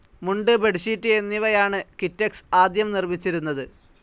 മുണ്ട്, ബെഡ്ഷീറ്റ് എന്നിവയാണ് കിറ്റെക്സ് ആദ്യം നിർമിച്ചിരുന്നത്.